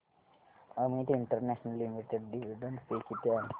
Amit International Limited dividend pay किती आहे